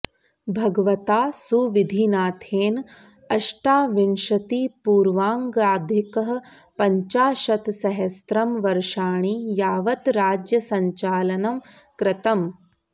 भगवता सुविधिनाथेन अष्टाविंशतिपूर्वाङ्गाधिकः पञ्चाशत्सहस्रं वर्षाणि यावत् राज्यसञ्चालनं कृतम्